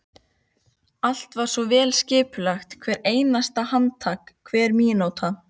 Allt var svo vel skipulagt, hvert einasta handtak, hver mínúta.